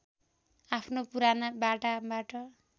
आफ्नो पुराना बाटाबाट